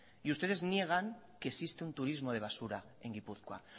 y ustedes niegan que existe un turismo de basura en guipúzcoa